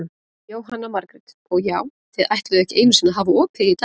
Jóhanna Margrét: Og já, þið ætluðuð ekki einu sinni að hafa opið í dag?